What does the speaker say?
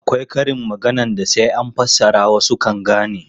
Akwai karin maganar da sai an fassara wasu kan gane.